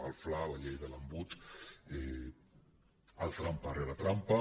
el fla la llei de l’embut el trampa rere trampa